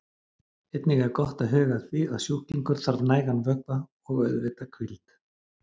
Einnig er gott að huga að því að sjúklingur þarf nægan vökva og auðvitað hvíld.